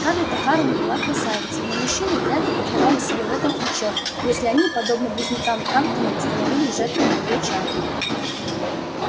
скарлетт охара не была красавицей но мужчины вряд ли давали себе в этом отчёт если они подобно близнецам тарлтонам становились жертвами её чар